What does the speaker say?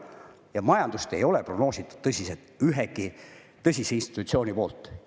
Ja majandust ei ole prognoositud tõsiselt – ükski tõsiselt institutsioon pole seda teinud.